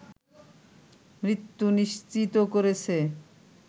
মৃত্যু নিশ্চিত করেছে